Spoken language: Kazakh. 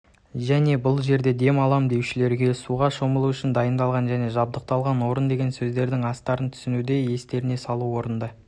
және бұл жерде дем алам деушілерге суға шомылу үшін дайындалған және жабдықталған орын деген сөздердің астарын түсінуді естеріне салу орынды